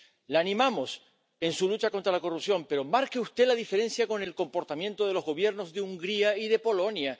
La animamos en su lucha contra la corrupción, pero marque usted la diferencia con el comportamiento de los Gobiernos de Hungría y de Polonia.